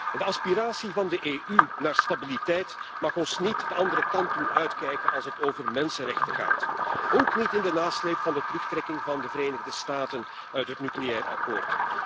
De aspiratie van de EU naar stabiliteit mag ons niet de andere kant doen uitkijken als het over mensenrechten gaat, ook niet in de nasleep van de terugtrekking van de Verenigde Staten uit het nucleair akkoord.